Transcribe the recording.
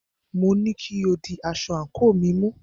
Mo ní kí o di aṣọ àńkò mi mú!